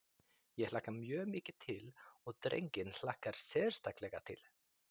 Ég hlakka mjög mikið til og drenginn hlakkar sérstaklega til.